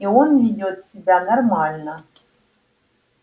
и он ведёт себя нормально